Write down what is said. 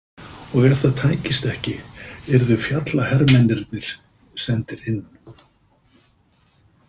Og ef það tækist ekki yrðu fjallahermennirnir sendir inn.